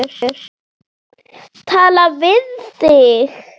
Tala við þig?